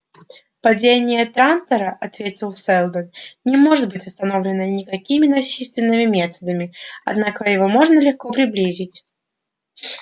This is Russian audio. падение трантора ответил сэлдон не может быть остановлено никакими насильственными методами однако его можно легко приблизить